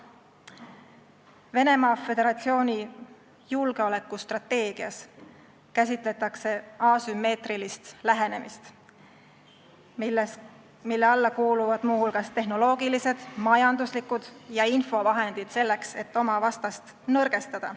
Venemaa Föderatsiooni julgeolekustrateegias käsitletakse asümmeetrilist lähenemist, mille alla kuuluvad muu hulgas tehnoloogilised, majanduslikud ja infovahendid, selleks et oma vastast nõrgestada.